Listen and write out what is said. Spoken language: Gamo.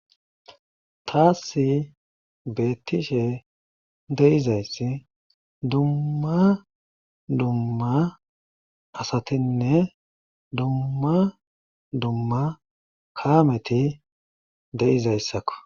Taasi beetihe de'izayssi dumma dumma asatinne dumma dumma kaameti de'izayssakko.